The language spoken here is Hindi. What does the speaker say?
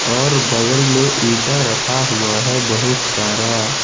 और बगल में इंटा रखा हुआ है बहुत सारा।